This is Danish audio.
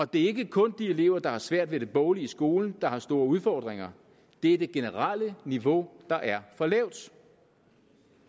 det er ikke kun de elever der har svært ved det boglige i skolen der har store udfordringer det er det generelle niveau der er for lavt